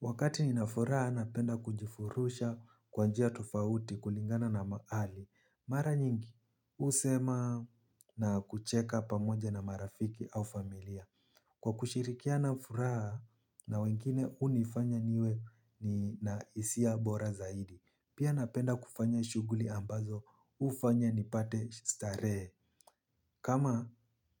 Wakati nina furaha napenda kujifurusha kwa njia tofauti kulingana na mahali. Mara nyingi, husema na kucheka pamoja na marafiki au familia. Kwa kushirikiana furaha na wengine hunifanya niwe na hisia bora zaidi. Pia napenda kufanya shughuli ambazo, hufanya nipate starehe. Kama